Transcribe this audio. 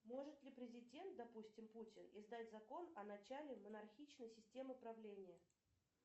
может ли президент допустим путин издать закон о начале монархичной системе правления